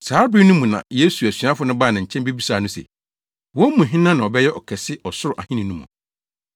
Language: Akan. Saa bere no mu na Yesu asuafo no baa ne nkyɛn bebisaa no se, wɔn mu hena na ɔbɛyɛ kɛse Ɔsoro Ahenni no mu.